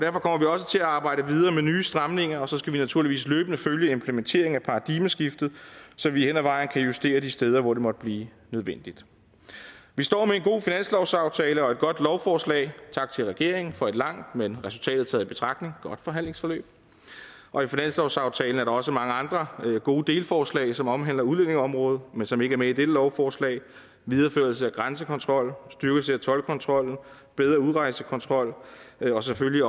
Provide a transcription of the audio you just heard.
også til at arbejde videre med nye stramninger og så skal vi naturligvis løbende følge implementeringen af paradigmeskiftet så vi hen ad vejen kan justere de steder hvor det måtte blive nødvendigt vi står med en god finanslovsaftale og et godt lovforslag tak til regeringen for et langt men resultatet taget i betragtning godt forhandlingsforløb og i finanslovsaftalen er der også mange andre gode delforslag som omhandler udlændingeområdet men som ikke er med i dette lovforslag videreførelse af grænsekontrol styrkelse af toldkontrol bedre udrejsekontrol og selvfølgelig